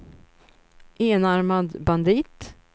enarmad bandit